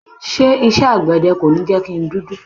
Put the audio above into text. Ṣé isẹ́ àgbẹ̀dẹ kò ní jẹ́ kí n dúdú?